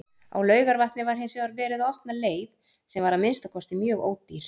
Á Laugarvatni var hinsvegar verið að opna leið, sem var að minnsta kosti mjög ódýr.